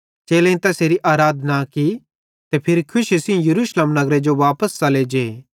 चेलेईं तैसेरी आराधना की ते फिरी खुशी सेइं यरूशलेम नगरे जो वापस च़ले जे